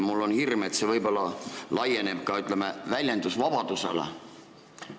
Mul on hirm, et võib-olla see laieneb ka väljendusvabadusele.